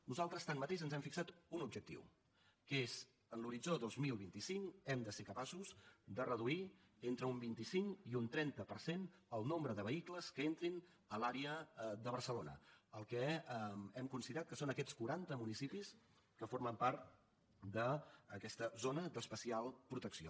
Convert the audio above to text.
nosaltres tanmateix ens hem fixat un objectiu que és en l’horitzó dos mil vint cinc hem de ser capaços de reduir entre un vint cinc i un trenta per cent el nombre de vehicles que entrin a l’àrea de barcelona el que hem considerat que són aquests quaranta municipis que formen part d’aquesta zona d’especial protecció